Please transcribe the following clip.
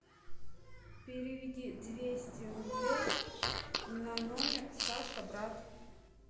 переведи двести рублей на номер саша брат